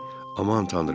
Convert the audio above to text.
Aman Tanrı.